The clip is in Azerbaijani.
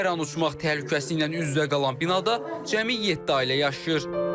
Hər an uçmaq təhlükəsi ilə üz-üzə qalan binada cəmi yeddi ailə yaşayır.